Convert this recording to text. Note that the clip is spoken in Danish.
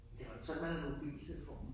Det var jo ikke sådan man havde mobiltelefon